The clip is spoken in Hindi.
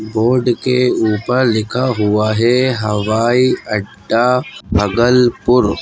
बोर्ड के ऊपर लिखा हुआ है हवाई अड्डा भागलपुर।